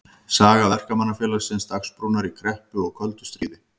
Saga Verkamannafélagsins Dagsbrúnar í kreppu og köldu stríði.